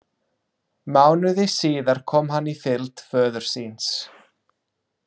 Mánuði síðar kom hann í fylgd föður síns.